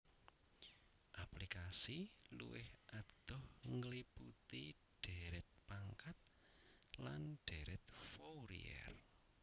Aplikasi luwih adoh ngliputi dhèrèt pangkat lan dhèrèt Fourier